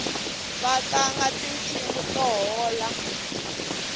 vatlanga tinsimu to hola